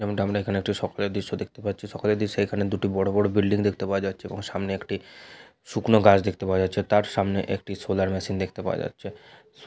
এবং আমরা এখানে একটি সকালের দৃশ্য দেখতে পাচ্ছি। সকালের দৃশ্যে এখানে দুটি বড় বড় বিল্ডিং দেখতে পাওয়া যাচ্ছে এবং সামনে একটি শুকনো গাছ দেখতে পাওয়া যাচ্ছে। তার সামনে একটি সোলার মেশিন দেখতে পাওয়া যাচ্ছে। সো-- .